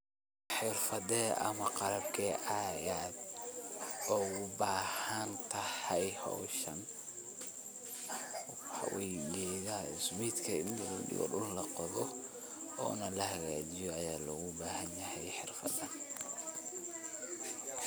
Xerfadeh ama qabkee Aya ugu bahantahay, hooshan waxaywaye smeetka oo guku lahakajeeyoh Aya lagu bahanyahay xeerfadan,